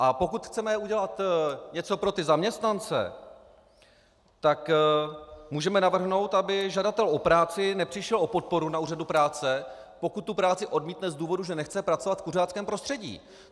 A pokud chceme udělat něco pro ty zaměstnance, tak můžeme navrhnout, aby žadatel o práci nepřišel o podporu na úřadu práce, pokud tu práci odmítne z důvodu, že nechce pracovat v kuřáckém prostředí.